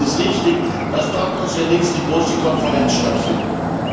Deshalb ist es richtig, dass dort unsere nächste große Konferenz stattfindet.